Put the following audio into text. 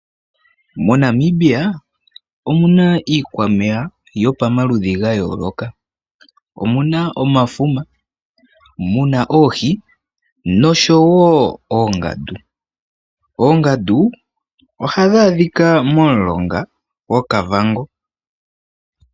Monamibia omuna iikwameya yo pamaludhi gayooloka omuna omafuma muna oohi nosho woo oongadu. oongadu oha dhaa dhika momulonga goKavango.